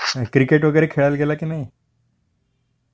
Cricket वगैरे खेळायला गेला की नाही ?